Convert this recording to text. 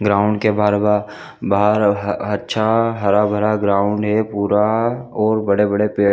ground के बाहर बाहर अच्छा हरा-भरा ग्राउंड है पूरा और बड़े-बड़े पेड़--